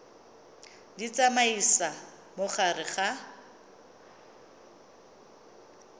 di tsamaisa mo gare ga